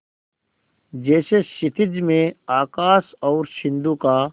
जैसे क्षितिज में आकाश और सिंधु का